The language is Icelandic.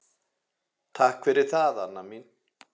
Takk fyrir það, Anna mín.